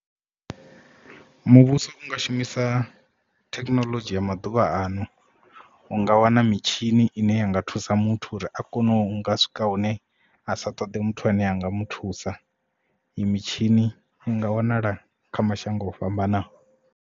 Muvhuso u nga shumisa thekinoḽodzhi ya maḓuvha ano u nga wana mitshini ine ya nga thusa muthu uri a kone u nga swika hune a sa ṱoḓi muthu ane a nga muthusa i mitshini inga wanala kha mashango o fhambanaho.